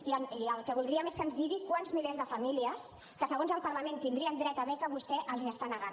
i el que voldríem és que ens digui a quants milers de famílies que segons el parlament tindrien dret a beca vostè els l’està negant